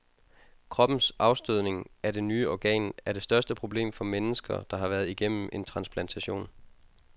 Kroppens afstødning af det nye organ er det største problem for mennesker, der har været igennem en transplantation.